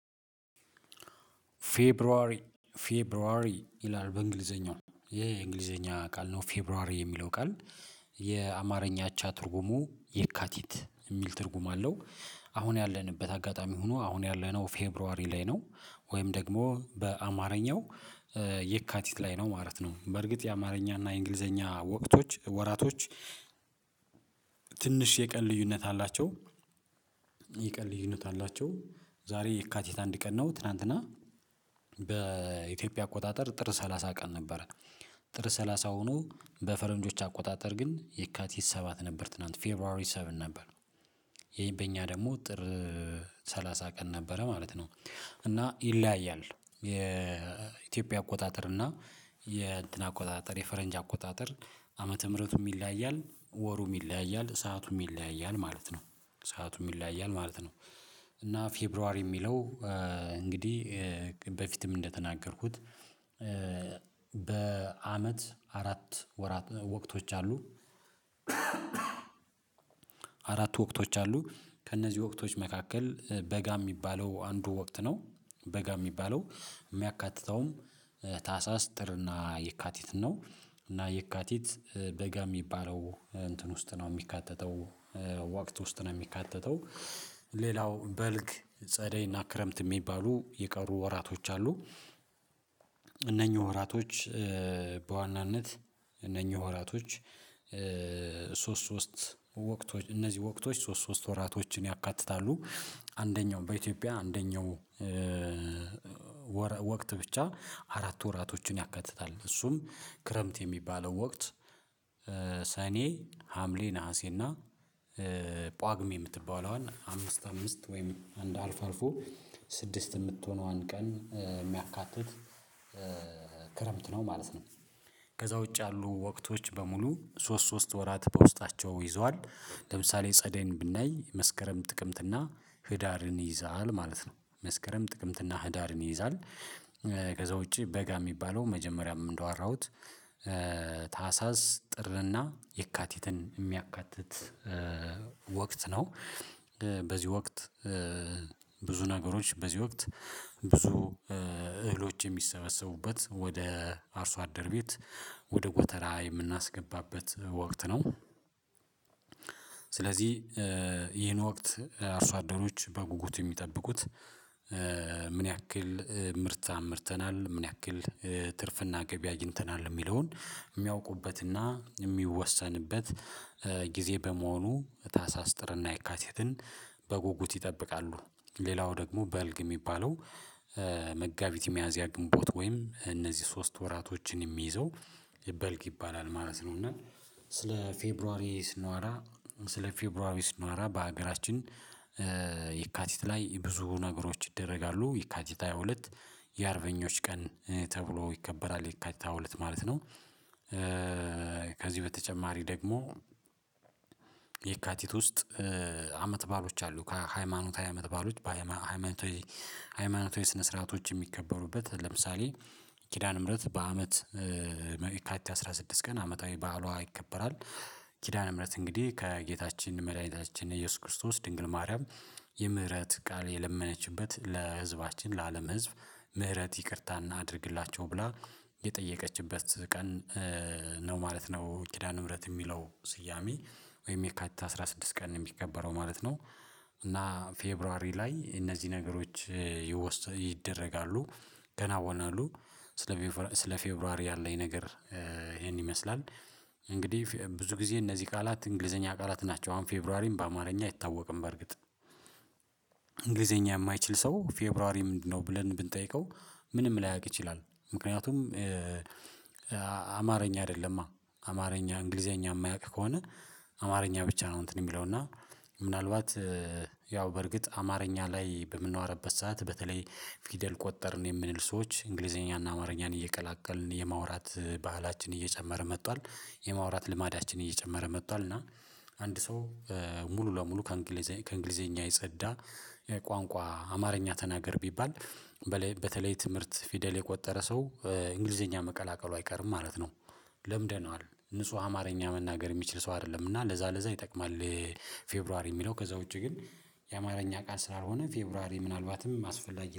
ፌብሯሪ ፌብሯሪ ይላል በእንግሊዝኛው ይሄ የእንግሊዘኛ ቃል ነው ፌብሯሪ የሚለው ቃል የአማርኛ እቻ ትርጉሙ የካቲት እሚል ትርጉም አለው። አሁን ያለንበት አጋጣሚ ሁኖ አሁን ያለነው ፌብሯሪ ላይ ነው ወይም ደግሞ በአማርኛው የካቲት ላይ ነው ማለት ነው። በእርግጥ የአማርኛ እና የእንግሊዝኛ ወቅቶች ወራቶች ትንሽ የቀን ልዩነት አላቸው። የቀን ልዩነት አላቸው ዛሬ የካቲት አንድ ቀን ነው ትላንትና በኢትዮጵያ አቆጣጠር ጥር ሰላሳ ቀን ነበረ። ጥር ሰላሳ ሆኖ በፈረንጆች አቆጣጠር ግን የካቲት ሰባት ነበር ትላንት ፌብሯሪ ሰቨን ነበር። ይሄ በእኛ ደግሞ ጥር ሰላሳ ቀን ነበረ ማለት ነው። እና ይለያያል የኢትዮጵያ አቆጣጠር እና የእንትን አቆጣጠር የፈረንጅ አቆጣጠር ዓመተ ምህረቱም ይለያያል ወሩም ይለያያል ሰአቱም ይለያያል ማለት ነው ሰአቱም ይለያያል ማለት ነው። እና ፌብሯሪ እሚለው እንግዲህ በፊትም እንደተናገርኩት በአመት አራት ወራት ወቅቶች አሉ። አራት ወቅቶች አሉ ከእነዚህ ወቅቶች መካከል በጋ እሚባለው አንዱ ወቅት ነው። በጋ እሚባለው እሚያካትተውም ታህሳስ ጥር እና የካቲትን ነው። እና የካቲት በጋ እሚባለው እንትን ውስጥ ነው እሚካተተው ወቅት ውስጥ ነው እሚካተተው ሌላው በልግ ጸደይና ክረምት እሚባሉ የቀሩ ወራቶች አሉ። እነኚህ ወራቶች በዋናነት እነኚህ ወራቶች ሶስት ሶስት እነዚህ ወቅቶች ሶስት ሶስት ወራቶችን ያካትታሉ። አንደኛው በኢትዮጵያ አንደኛው ወቅት ብቻ አራት ወራቶችን ያከትታል እሱም ክረምት የሚባለው ወቅት ሰኔ ሀምሌ ነሀሴና ጳጉሜ እምትባለዋን አምስት አምስት ወይም አንድ አልፎ አልፎ ስድስት እምትሆነዋን ቀን እሚያካትት ክረምት ነው ማለት ነው። ከዛ ውጪ ያሉ ወቅቶች በሙሉ ሶስት ሶስት ወራት በውስጣቸው ይዘዋል። ለምሳሌ ጸደይን ብናይ መስከረም ጥቅምት እና ህዳርን ይይዛል ማለት ነው መስከረም ጥቅምትና ህዳርን ይይዛል። ከዛ ውጪ በጋ እሚባለው መጀመሪያም እንዳወራሁት ታህሳስ ጥርና የካቲትን እሚያካትት ወቅት ነው። በዚህ ወቅት ብዙ ነገሮች በዚህ ወቅት ብዙ እህሎች የሚሰበሰቡበት ወደ አርሶ አደር ቤት ወደ ጎተራ የምናስገባበት ወቅት ነው። ስለዚህ ይህን ወቅት አርሶ አደሮች በጉጉት እሚጠብቁት ምን ያክል ምርት አምርተናል ምን ያክል ትርፍና ገቢ አግኝተናል እሚለውን እሚያውቁበትና እሚወሰንበት ጊዜ በመሆኑ ታሳስ ጥርና የካቲትን በጉጉት ይጠብቃሉ። ሌላው ደግሞ በልግ እሚባለው መጋቢት ሚያዚያ ግንቦት ወይም እነዚህ ሶስት ወራቶችን እሚይዘው በልግ ይባላል ማለት ነው። እና ስለ ፌብሯሪ ስንወራ ስለ ፌብሯሪ ስንዋራ በአገራችን የካቲት ላይ ብዙ ነገሮች ይደረጋሉ የካቲት ሃያ ሁለት የአርበኞች ቀን ተብሎ ይከበራል የካቲት ሃያ ሁለት ማለት ነው። ከዚህ በተጨማሪ ደግሞ የካቲት ውስጥ አመት በዓሎች አሉ ሃይማኖታዊ አመት በዓሎች ሃይማኖታዊ ስነ ስርዓቶች እሚከበሩበት ለምሳሌ ኪዳነ ምህረት በአመት የካቲት አስራ ስድስት ቀን አመታዊ በዓሏ ይከበራል። ኪዳነ ምህረት እንግዲህ ከጌታችን መድኃኒታችን ኢየሱስ ክርስቶስ ድንግል ማርያም የምህረት ቃል የለመነችበት ለህዝባችን ለአለም ህዝብ ምህረት ይቅርታ እናድርግላቸው ብላ የጠየቀችበት ቀን ነው ማለት ነው። ኪዳነ ምህረት እሚለው ስያሜ ወይም የካት አስራ ስድስት ቀን እሚከበረው ማለት ነው። እና ፌብሯሪ ላይ እነዚህ ነገሮች ይደረጋሉ ይከናወናሉ ስለ ስለ ፌብሯሪ ያለኝ ነገር ይሄን ይመስላል። እንግዲህ ብዙ ጊዜ እነዚህ ቃላት እንግሊዝኛ ቃላት ናቸው አሁን ፌብሯሪም በአማርኛ አይታወቅም በእርግጥ እንግሊዝኛ እማይችል ሰው ፌብሯሪ ምንድነው ብለን ብንጠይቀው ምንም ላያውቅ ይችላል። ምክንያቱም አማርኛ አይደለማ እንግሊዝኛ እማያውቅ ከሆነ አማርኛ ብቻ ነው እንትን እሚለው እና ምናልባት ያው በርግጥ አማርኛ ላይ በምንወረበት ሰዓት በተለይ ፊደል ቆጠርን የምንል ሰዎች እንግሊዝኛና አማርኛን እየቀላቀልን የማውራት ባህላችን እየጨመረ መጥቷል። የማውራት ልማዳችን እየጨመረ መጥቷል እና አንድ ሰው ሙሉ ለሙሉ ከእንግሊዝኛ ከእንግሊዘኛ የጸዳ ቋንቋ አማርኛ ተናገር ቢባል በተለይ ትምህርት ፊደል የቆጠረ ሰው እንግሊዝኛ መቀላቀሉ አይቀርም ማለት ነው። ለምደነዋል ንጹህ አማርኛ መናገር እሚችል ሰው አይደለም እና ለዛ ለዛ ይጠቅማል። ፌብሯሪ እሚለው ከዛ ውጪ ግን የአማርኛ ቃል ስላልሆነ ፌብሯሪ ምናልባትም አስፈላጊ